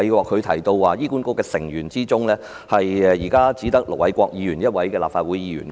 他提到目前醫管局大會成員中，只有盧偉國議員一位立法會議員。